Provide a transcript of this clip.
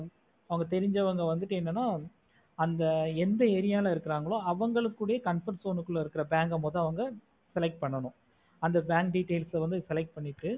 அங்க தெரிஞ்ச வங்க வந்துட்டு என்னா அங்க எந்த area இருக்குறாங்களோ அவங்களுக்குட comfort zone குலா bank ஆஹ் மட்டும் வந்து select பண்ணனும் அந்த bank details வந்து select பண்ணிட்டு